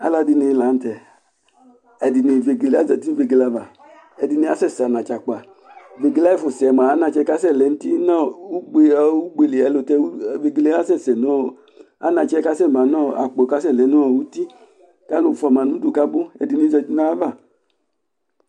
alʋɛdini lantɛ, vɛgɛlɛ, azati nʋ vɛgɛlɛ aɣa, ɛdi asɛsɛ akpa, vɛgɛlɛ ayi ɛƒʋ sɛ mʋa anakyɛ kasɛ lɛnʋ ʋti nʋɔ ʋgbɛli ayɔ, vɛgɛlɛ asɛsɛ nʋɔ anakyɛ kʋ asɛ manʋɔ akpɔ kʋ asɛ lɛnʋɔ ʋti kʋ alʋ ƒʋama kʋ abʋ ɛdini zati nʋ ayiava